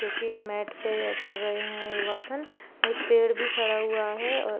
जो की एक मेट पे कर रहे हैं योगासन एक पेड़ भी खड़ा हुआ है और --